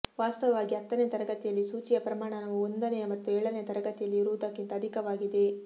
ವಾಸ್ತವವಾಗಿ ಹತ್ತನೆಯ ತರಗತಿಯಲ್ಲಿ ಸೂಚಿಯ ಪ್ರಮಾಣವು ಒಂದನೆಯ ಮತ್ತು ಏಳನೆಯ ತರಗತಿಯಲ್ಲಿ ರುವುದಕ್ಕಿಂತ ಅಧಿಕವಾಗಿದೆ